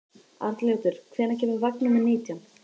Arnljótur, hvenær kemur vagn númer nítján?